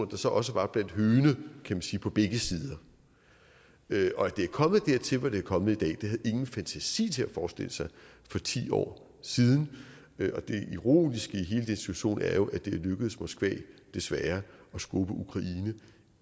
der så også var blandt høgene kan man sige på begge sider at det er kommet dertil hvor det er kommet i dag havde ingen fantasi til at forestille sig for ti år siden og det ironiske i hele den situation er jo at det er lykkedes moskva desværre at skubbe ukraine